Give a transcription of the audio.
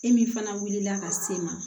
E min fana wulila ka se ma